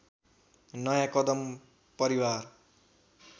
नयाँ कदम परिवार